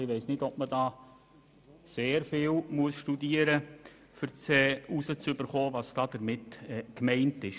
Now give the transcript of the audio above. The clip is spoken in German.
Ich weiss nicht, ob man da sehr stark darüber nachdenken muss, um herauszufinden, was damit gemeint ist.